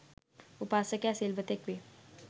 උපාසකයා සිල්වතෙක් වේ.